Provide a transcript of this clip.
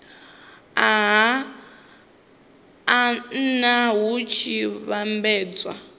a nha hu tshi vhambedzwa